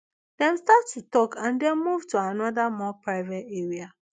dem start to tok and den move to anoda more private area